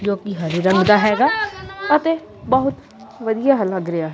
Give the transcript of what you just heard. ਜੋਕਿ ਹਰੇ ਰੰਗ ਦਾ ਹੈਗਾ ਅਤੇ ਬਹੁਤ ਵਧੀਆ ਲੱਗ ਰਿਹਾ--